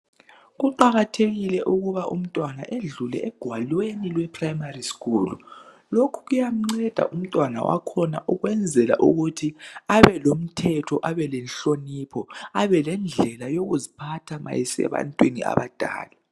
Kuqakathekile ukuba umntwana edlule egwalweni leprimary school. Lokhu kuyamnceda umntwana wakhona ukwezela ukuthi abelomthetho, abelenhlonipho, abelendlela yokuziphatha ma esebantwini abadala.